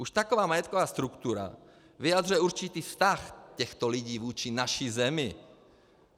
Už taková majetková struktura vyjadřuje určitý vztah těchto lidí vůči naší zemi.